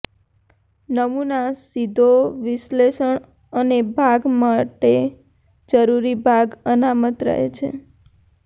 નમૂના સીધો વિશ્લેષણ અને ભાગ માટે જરૂરી ભાગ અનામત રહે છે